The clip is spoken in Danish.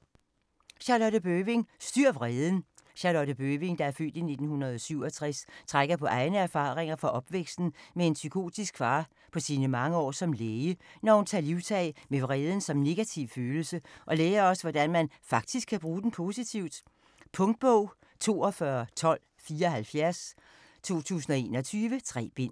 Bøving, Charlotte: Styr vreden Charlotte Bøving (f. 1967) trækker på egne erfaringer fra opvæksten med en psykopatisk far og på sine mange år som læge, når hun tager livtag med vreden som negativ følelse og lærer os, hvordan man faktisk kan bruge den positivt. Punktbog 421274 2021. 3 bind.